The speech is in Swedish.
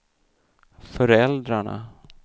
föräldrarna